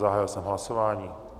Zahájil jsem hlasování.